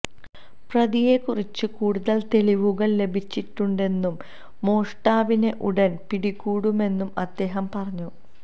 പ്രതിയെക്കുറിച്ച് കൂടുതൽ തെളിവുകൾ ലഭിച്ചിട്ടുണ്ടന്നും മോഷ്ടാവിനെ ഉടൻ പിടികൂടുമെന്നും അദ്ദേഹം പറഞ്ഞു